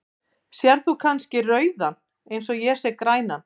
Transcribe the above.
Sérð þú kannski rauðan eins og ég sé grænan?.